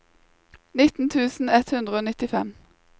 nitten tusen ett hundre og nittifem